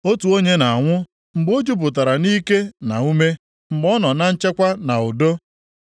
Otu onye na-anwụ mgbe o jupụtara nʼike na ume, mgbe ọ nọ na nchekwa na udo,